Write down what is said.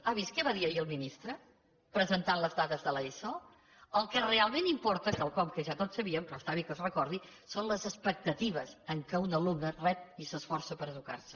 ha vist què va dir ahir el ministre presentant les dades de l’eso el que realment importa quelcom que ja tots sabíem però està bé que es recordi són les expectatives amb què un alumne rep i s’esforça per educar se